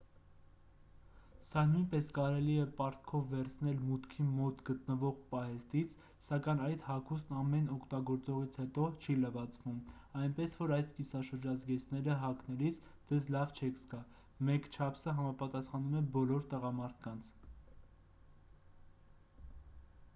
սա նույնպես կարելի է պարտքով վերցնել մուտքի մոտ գտնվող պահեստից սակայն այդ հագուստն ամեն օգտագործողից հետո չի լվացվում այնպես որ այս կիսաշրջազգեստները հագնելիս ձեզ լավ չեք զգա մեկ չափսը համապատասխանում է բոլոր տղամարդկանց